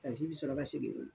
takisi bi sɔrɔ ka segin yɔrɔ